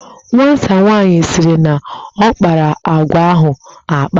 Nwata nwaanyị sịrị na ọ kpara akwa ahụ akpa